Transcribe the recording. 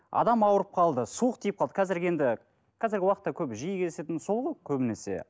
адам ауырып қалды суық тиіп қалды қазіргі енді қазіргі уақытта көбі жиі кездесетіні сол ғой көбінесе